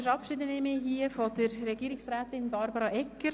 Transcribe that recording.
Damit verabschiede ich mich hier von Regierungsrätin Barbara Egger.